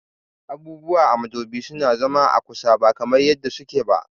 Abubuwa a modubi suna zama a kusa ba kamar yadda suke ba